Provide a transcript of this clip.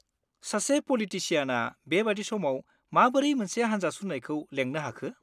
सासे पलिटिसियानआ बेबादि समाव माबोरै मोनसे हानजा सुरनायखौ लेंनो हाखो?